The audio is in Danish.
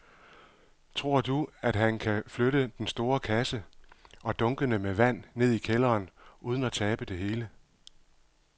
Tror du, at han kan flytte den store kasse og dunkene med vand ned i kælderen uden at tabe det hele?